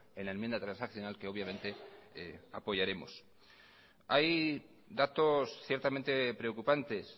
en la enmienda transaccional que obviamente apoyaremos hay datos ciertamente preocupantes